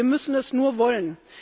Wir müssen es nur wollen.